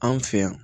Anw fɛ yan